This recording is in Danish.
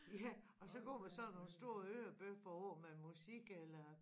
Ja og så går man sådan nogle store hørebøffer over med musik eller